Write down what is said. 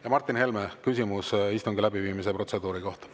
Ja Martin Helme, küsimus istungi läbiviimise protseduuri kohta.